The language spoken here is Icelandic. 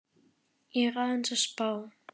Ég er aðeins að spá.